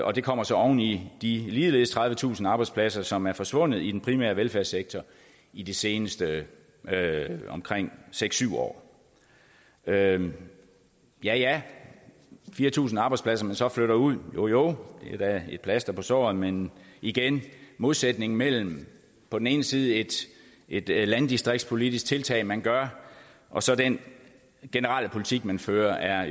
og det kommer så oven i de ligeledes tredivetusind arbejdspladser som er forsvundet i den primære velfærdssektor i de seneste omkring seks syv år ja ja ja fire tusind arbejdspladser man så flytter ud jo jo det er da et plaster på såret men igen modsætningen mellem på den ene side et et landdistriktspolitisk tiltag man gør og så den generelle politik man fører er